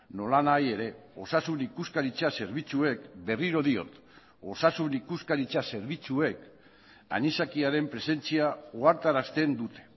nolanahi ere osasun ikuskaritza zerbitzuek berriro diot osasun ikuskaritza zerbitzuek anisakiaren presentzia ohartarazten dute